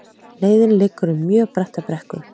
Leiðin liggur um mjög bratta brekku